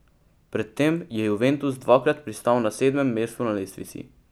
Pred tem je Juventus dvakrat pristal na sedmem mestu na lestvici.